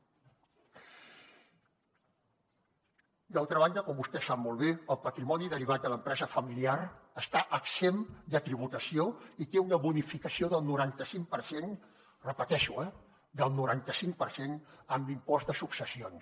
d’altra banda com vostè sap molt bé el patrimoni derivat de l’empresa familiar està exempt de tributació i té una bonificació del noranta cinc per cent ho repeteixo eh del noranta cinc per cent en l’impost de successions